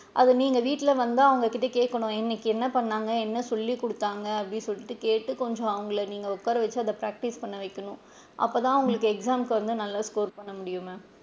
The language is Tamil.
அது நீங்க வீட்ல வந்து அவுங்ககிட்ட கேக்கணும் இன்னைக்கு என்ன பண்ணுனாங்க என்ன சொல்லி குடுத்தாங்க அப்படின்னு சொல்லி கேட்டு கொஞ்சம் நீங்க அவுங்கள உட்கார வச்சு கொஞ்சம் அவுங்கள practice பண்ண வைக்கணும் அப்ப தான் அவுங்களுக்கு exam முக்கு வந்து நல்லா score பண்ண வைக்க முடியும் ma'am.